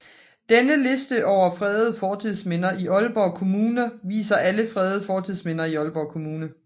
Denne liste over fredede fortidsminder i Aalborg Kommune viser alle fredede fortidsminder i Aalborg Kommune